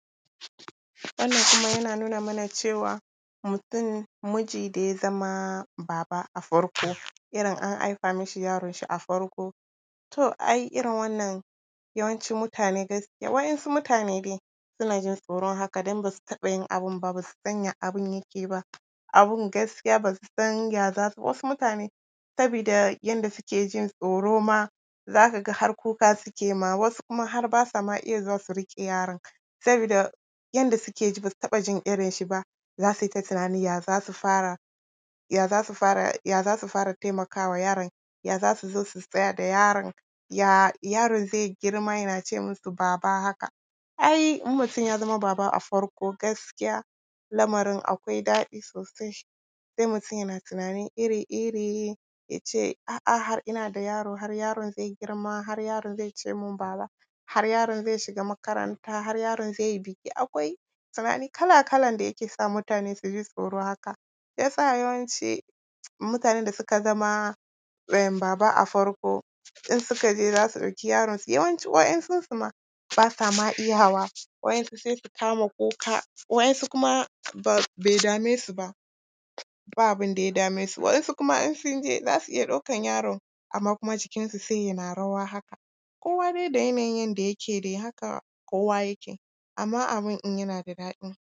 Wannan kuma yana nuna mana cewa, mutum miji da ya zama baba a farko, irin an haifa mishi yaronshi a farko, to ai irin wannan yawanci mutane gaskiya waɗansu mutane dai suna jin tsoron haka don ba su taɓa yin abin ba, ba su san ya abin yake ba, abin gaskiya ba su san ya za su… wasu mutane sabida yadda suke jin tsoro ma, za ka ga har kuka suke yi ma, wasu kuma har ba sa ma iya riƙe yaron, sabida yadda suke ji, ba su taɓa jin irin shi ba, za su yi ta tunanin ya za su fara, ya za su fara, ya za su fara taimaka wa yaron, ya za su zo, su tsaya da yaron, ya yaron zai girma yana ce musu baba haka. Ai in mutum ya zama baba a farko gaskiya lamarin akwai daɗi sosai. Sai mutum yana tunani ri-iri, ya ce “a’a, har ina da yaro, har yaron zai girma, har yaron zai ce min ‘baba’, har yaron zai shiga makaranta, har yaron zai yi degree…” Akwai tunani kala-kala da zai sa mutane su ji tsoro haka. Shi ya sa yawanci mutanen da suka zama baba a farko, in suka je za su ɗauki, yaronsu, yawanci waɗansunsu ma, ba sa ma iyawa, waɗansunsu ma sai su kama kuka, waɗansu kuma bai dame su ba, ba abin da ya dame su, waɗansu kuma in sun je, za su iya ɗaukar yaron amma kuma sai jikinsu sai yana rawa haka, kowa dai da yanayin yadda yake dai, haka kowa yake, amma abin in yana da daɗi.